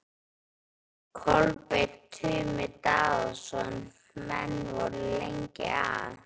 Kolbeinn Tumi Daðason: Menn voru lengi að?